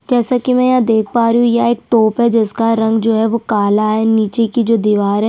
जैसा की मैं यहाँ देख पा रही हूं यह एक तोप है जिसका रंग जो है वो काला है नीचे की जो दीवार है--